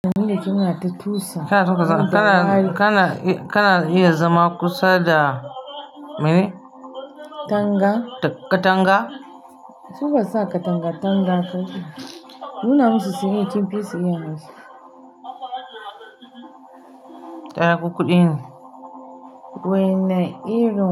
Dani da ke muna ta tusa kina tuka zama. Kana, kana, kana iya zama kusa da, me ne? Tanga katanga? Su ba su sa katanga tanga kake yi? Nuna musu su iya kin fisu iya hausa. Taya ku kuɗin wane irin?